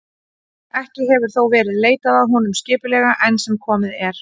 ekki hefur þó verið leitað að honum skipulega enn sem komið er